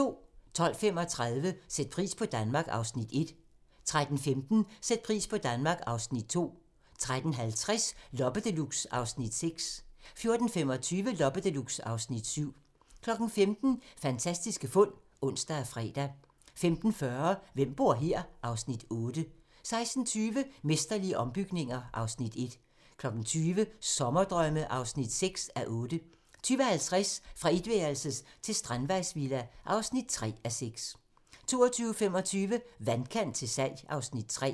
12:35: Sæt pris på Danmark (Afs. 1) 13:15: Sæt pris på Danmark (Afs. 2) 13:50: Loppe Deluxe (Afs. 6) 14:25: Loppe Deluxe (Afs. 7) 15:00: Fantastiske fund (ons og fre) 15:40: Hvem bor her? (Afs. 8) 16:20: Mesterlige ombygninger (Afs. 1) 20:00: Sommerdrømme (6:8) 20:50: Fra etværelses til strandvejsvilla (3:6) 22:25: Vandkant til salg (Afs. 3)